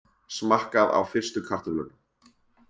Smakkað á fyrstu kartöflunum